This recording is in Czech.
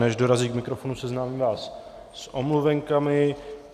Než dorazí k mikrofonu, seznámím vás s omluvenkami.